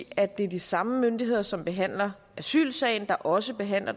at det er de samme myndigheder som behandler asylsagerne der også behandler